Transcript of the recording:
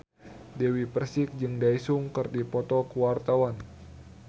Dewi Persik jeung Daesung keur dipoto ku wartawan